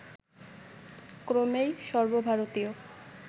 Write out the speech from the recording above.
ক্রমেই সর্বভারতীয়